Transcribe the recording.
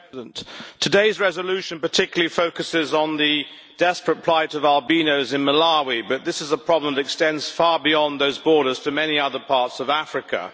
Madam President, today's resolution particularly focuses on the desperate plight of albinos in Malawi, but this is a problem that extends far beyond those borders to many other parts of Africa.